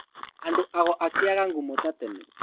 Andũ ago akĩaga ngumo ta tene